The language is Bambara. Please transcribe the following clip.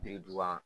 Biriduga